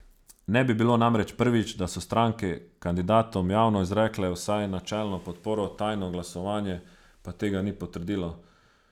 Ne bi bilo namreč prvič, da so stranke kandidatom javno izrekle vsaj načelno podporo, tajno glasovanje pa tega ni potrdilo.